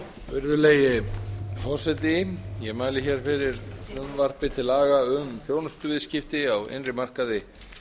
virðulegi forseti ég mæli hér fyrir frumvarpi til laga um þjónustuviðskipti á innri markaði